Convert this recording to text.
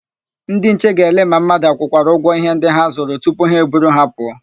Ndịnche ga-elelee ma mmadụ akwụkwara ụgwọ íhé ndị ha zụrụ tupu ha eburu ha pụọ.